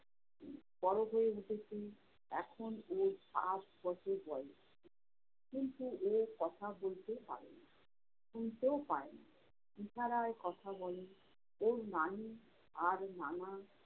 বড় হয়ে উঠেছে। এখন ওর সাত বছর বয়স। কিন্তু ও কথা বলতে পারে না। শুনতেও পায়না। ইশারায় কথা বলে, ওর নানী আর নানা